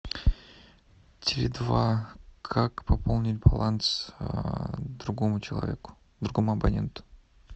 теле два как пополнить баланс другому человеку другому абоненту